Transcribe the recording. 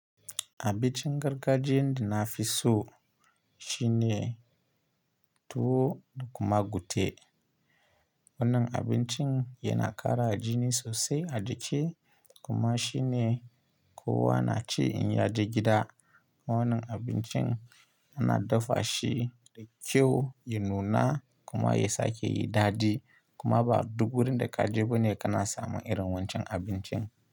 Abincin gargajiyan da nafi so shine tuwo da kuma gute. Wannan abincin yana ƙara jini sosai a jiki kuma shine kowa na ci in ya je gida. Wannan abincin ana dafa shi da kyau, ya nuna kuma ya sake yi dadi kuma ba duk wurin da ka je bane kana samun irin wancan abincin.